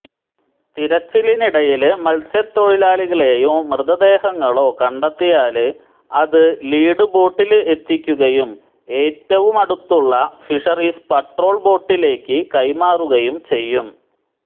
തിരച്ചിലിനിടയില് മല്സ്യത്തൊഴിലാളികളെയോ മൃതദേഹങ്ങളോ കണ്ടെത്തിയാല് അത് ലീഡ് ബോട്ടില് എത്തിക്കുകയും ഏറ്റവുമടുത്തുള്ള ഫിഷറീസ് പട്രോള് ബോട്ടിലേക്ക് കൈമാറുകയും ചെയ്യും